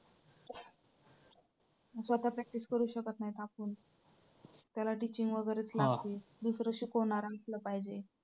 स्वतः practice करू शकत नाही आपण त्याला teaching वगैरेच लागते. दुसरं शिकवणारं असलं पाहिजे.